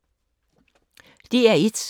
DR1